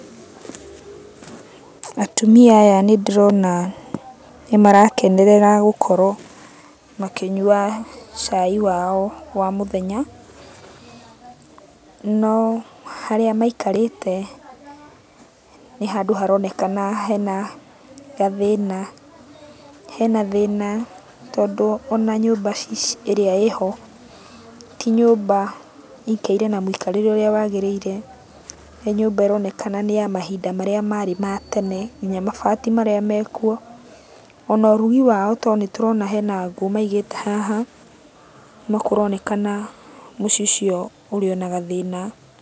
Atumia aya nĩndĩrona nĩmarakenerera gũkorwo makĩnyua cai wao wa mũthenya. No harĩa maikarĩte, nĩ handũ haronekana hena gathĩna, hena thĩna tondũ ona nyũmba ĩrĩa ĩho, ti nyũmba ĩikaire na mũikarĩre ũrĩa wagĩrĩire, nĩ nyũmba ĩronekana nĩyamahinda marĩa marĩ ma tene, kinya mabati marĩa mekuo, ona ũrugi wao tondũ nĩtũrona hena ngũ maigĩte haha, nĩkũronekana mũciĩ ũcio ũrĩonagathĩna